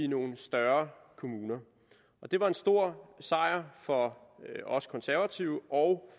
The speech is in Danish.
nogle større kommuner det var en stor sejr for os konservative og